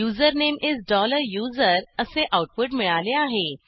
username इस USER असे output मिळाले आहे